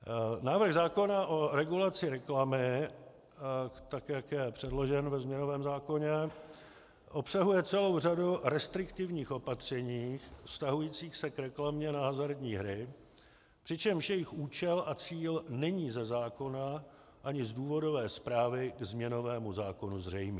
Návrh zákona o regulaci reklamy, tak jak je předložen ve změnovém zákoně, obsahuje celou řadu restriktivních opatření vztahujících se k reklamě na hazardní hry, přičemž jejich účel a cíl není ze zákona ani z důvodové zprávy k změnovému zákonu zřejmý.